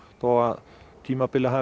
þó að tímabilið hafi